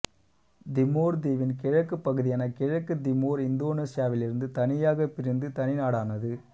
Timor தீவின் கிழக்குப் பகுதியான கிழக்கு திமோர் இந்தோனேசியாவிலிருந்து தனியாக பிரிந்து தனிநாடானது